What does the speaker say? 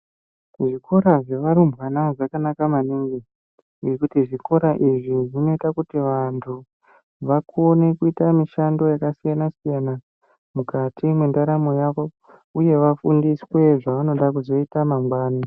Zvikora zvevarumbwana zvakanaka maningi, nekuti zvikora izvi zvinoita kuti vantu vakone kuita mishando yakasiyana siyana mukati mendaramo yavo. Uye k vafundiswe zvavanoda kuzoite mangwana.